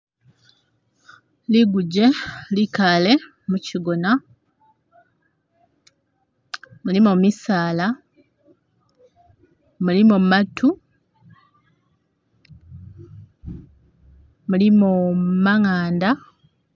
Liguje likaale mukigona, mulimo misaala, mulimo matu, mulimo manganda